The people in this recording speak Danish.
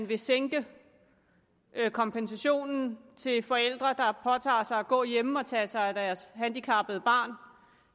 vil sænke kompensationen til forældre der påtager sig at gå hjemme og tage sig af deres handicappede barn